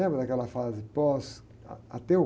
Lembra daquela fase pós, ah, ateu?